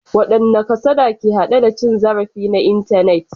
Wadanne kasada ke hade da cin zarafi na intanet?